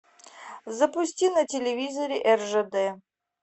запусти на телевизоре ржд